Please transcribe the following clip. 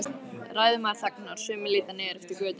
Ræðumaður þagnar, sumir líta niður eftir götunni.